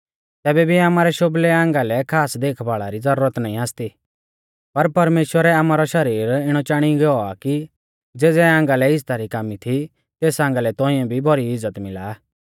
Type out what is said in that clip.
तैबै भी आमारै शोभलै आंगा लै खास देखभाल़ा री ज़रूरत नाईं आसती पर परमेश्‍वरै आमारौ शरीर इणौ चाणी गौ आ कि ज़ेज़ै आंगा लै इज़्ज़ता री कामी थी तेस आंगा लै तौंइऐ भी भौरी इज़्ज़त मिला